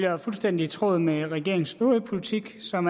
er fuldstændig i tråd med regeringens øvrige politik som